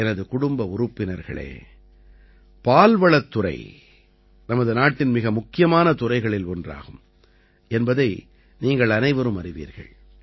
எனது குடும்ப உறுப்பினர்களே பால்வளத் துறை நமது நாட்டின் மிக முக்கியமான துறைகளில் ஒன்றாகும் என்பதை நீங்கள் அனைவரும் அறிவீர்கள்